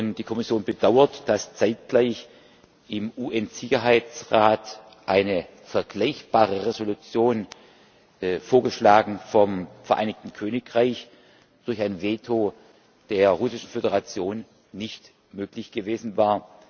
Die Kommission bedauert, dass zeitgleich im UN Sicherheitsrat eine vergleichbare Resolution vorgeschlagen vom Vereinigten Königreich durch ein Veto der Russischen Föderation nicht möglich gewesen war.